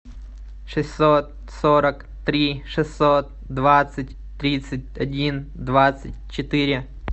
шестьсот сорок три шестьсот двадцать тридцать один двадцать четыре